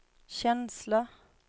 känsla